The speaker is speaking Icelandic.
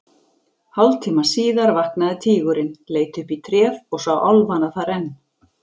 Hálftíma síðar vaknaði tígurinn, leit upp í tréð og sá álfana þar enn.